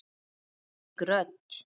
Þvílík rödd!